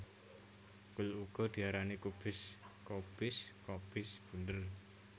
Kul uga diarani kubis kobis kobis bunder